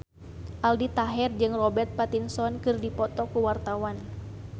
Aldi Taher jeung Robert Pattinson keur dipoto ku wartawan